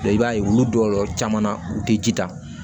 i b'a ye olu jɔyɔrɔ caman na u tɛ ji ta